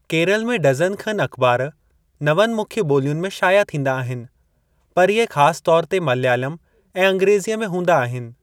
केरल में डज़न खनु अख़बार नवनि मुख्यु ॿोलियुनि में शाया थींदा आहिनि, पर इहे ख़ास तौर ते मलयालम ऐं अंग्रेज़ीअ में हूंदा आहिनि।